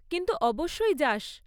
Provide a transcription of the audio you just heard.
কিন্তু, অবশ্যই যাস।